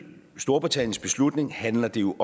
storbritanniens beslutning handler det jo